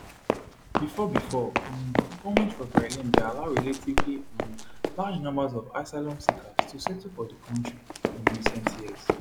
bifor bifor um goments for berlin bin allow relatively um large numbers of asylum seekers to settle for di kontri in recent years